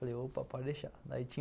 Falei, opa, pode deixar. Daí tinha